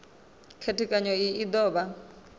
khethekanyo iyi u do vha